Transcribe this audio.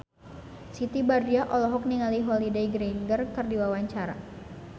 Siti Badriah olohok ningali Holliday Grainger keur diwawancara